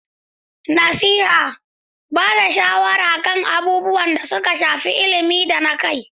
Nasiha: Ba da shawara kan abubuwan da suka shafi ilimi da na kai.